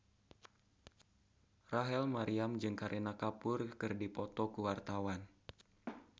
Rachel Maryam jeung Kareena Kapoor keur dipoto ku wartawan